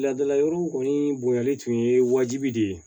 Laadala yɔrɔw kɔni bonyali tun ye wajibi de ye